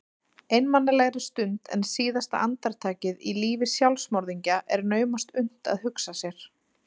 Einmanalegri stund en síðasta andartakið í lífi sjálfsmorðingja er naumast unnt að hugsa sér.